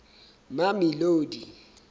mamelodi